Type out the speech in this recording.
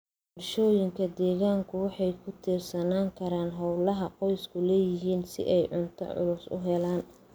Bulshooyinka deegaanku waxay ku tiirsanaan karaan hawlaha qoysku leeyihiin si ay cunto cusub u helaan.